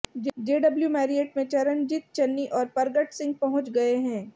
JW Marriott में चरणजीत चन्नी और परगट सिंह पहुंच गए हैं